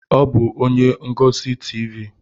Ọ bụ onye ngosi Tivii.